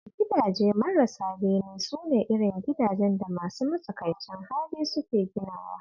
Gidaje marasa bene su ne irin gidajen da masu matsakaicin hali suke ginawa